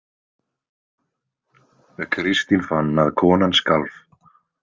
Kristín fann að konan skalf.